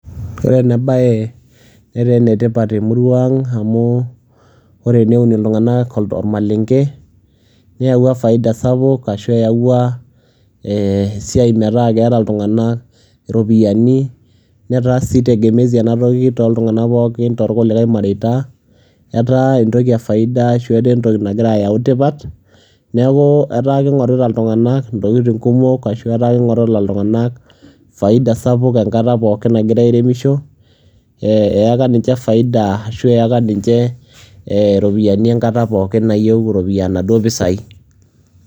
ore ena bae netaa enetipat temurua ang amu ore teneun iltunganak ,neyawua faida sapuk ashu eyawua esiai metaa keeta iltungank iropiyiani, netaa sii tegemezi ena toki tooltungank pookin toorkulikae mareita, etaa entoki efaida ashu etaa entoki nagira ayau tipat, neeku etaa kingorita iltungank iwuejitin kumok, ashu etaa kingorita iltunganak faida sapuk enkata nagirae airemisho. eyaka ninche faida ashu eyaka ninche iropiyiani enkata pookin nayieu inaduoo pisai.